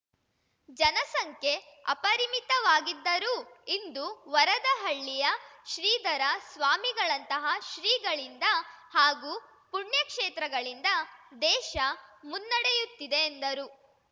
ಜನಸಂಖ್ಯೆ ಅಪರಿಮಿತವಾಗಿದ್ದರೂ ಇಂದು ವರದಹಳ್ಳಿಯ ಶ್ರೀಧರ ಸ್ವಾಮಿಗಳಂತಹ ಶ್ರೀಗಳಿಂದ ಹಾಗೂ ಪುಣ್ಯಕ್ಷೇತ್ರಗಳಿಂದ ದೇಶ ಮುನ್ನಡೆಯುತ್ತಿದೆ ಎಂದರು